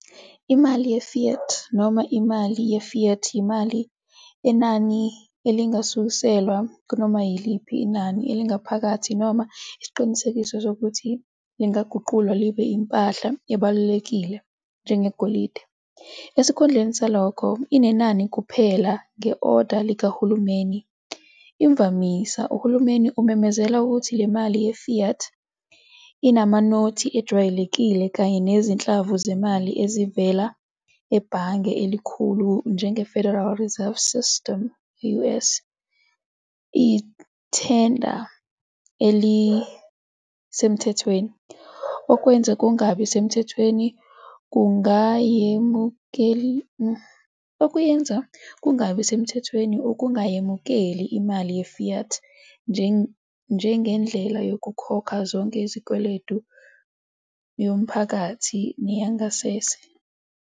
Imali ye-Fiat noma imali ye-fiat yimali enenani elingasuselwa kunoma yiliphi inani elingaphakathi noma isiqinisekiso sokuthi lingaguqulwa libe impahla ebalulekile, njengegolide. Esikhundleni salokho, inenani kuphela nge-oda likahulumeni, fiat. Imvamisa, uhulumeni umemezela ukuthi imali ye-fiat, imanothi ejwayelekile kanye nezinhlamvu zemali ezivela ebhange elikhulu, njengeFederal Reserve System e-US, iyithenda elisemthethweni, okwenza kungabi semthethweni ukungayemukeli imali ye-fiat njengendlela yokukhokha zonke izikweletu, yomphakathi neyangasese.